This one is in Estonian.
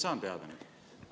Kuidas ma saan selle teada?